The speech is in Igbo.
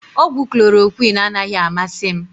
Ọgwụ chlọrọquin anaghị amasị m.